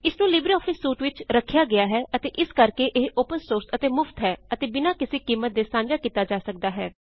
ਇਸ ਨੂੰ LibreOffice suite ਵਿੱਚ ਰਖਿਆ ਗਇਆ ਹੈ ਅਤੇ ਇਸ ਕਰਕੇ ਇਹ ਓਪਨ ਸੋਰਸ ਅਤੇ ਮੁਫ਼ਤ ਹੈ ਅਤੇ ਬਿਨਾਂ ਕਿਸੇ ਕੀਮਤ ਦੇ ਸਾਂਝਾ ਕੀਤਾ ਜਾ ਸਕਦਾ ਹੈ